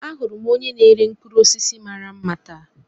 Ahụrụ m onye na-ere mkpụrụ osisi mara mma taa.